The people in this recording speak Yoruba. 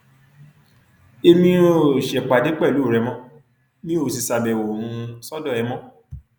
èmi um ò ṣèpàdé pẹlú ẹ mọ mi ò sì ṣàbẹwò um sọdọ ẹ mọ